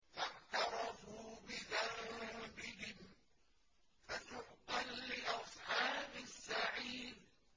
فَاعْتَرَفُوا بِذَنبِهِمْ فَسُحْقًا لِّأَصْحَابِ السَّعِيرِ